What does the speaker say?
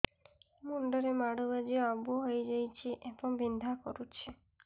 ମୁଣ୍ଡ ରେ ମାଡ ବାଜି ଆବୁ ହଇଯାଇଛି ଏବଂ ବିନ୍ଧା କରୁଛି